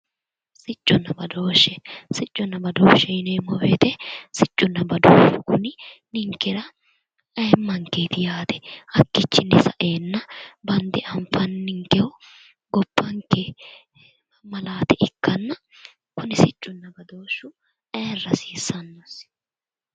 Sicconna badooshshe, sicconna. badooshshe yineemmo woyte ninkera aymankeeti yaate bandebanfannikehu gobbanke malaate ikkanna ayirra hasiissanno